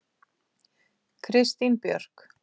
Kristín Björk.